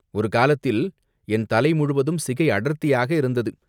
ஒரு காலத்தில் என் தலை முழுவதும் சிகை அடர்த்தியாக இருந்தது.